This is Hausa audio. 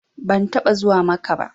Ban taɓa zuwa Makkah ba